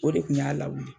O de kun y'a lawuli